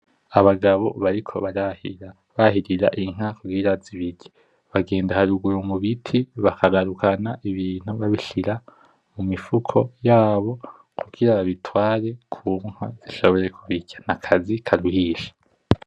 Abagabo bariko barahira, bahirira Inka kugirango zibirye bagenda haruguru mubiti bakagarukana Ibintu babishira mumifuko yabo kugira babitware kunka zishobore kubirya nakazi karuhisha .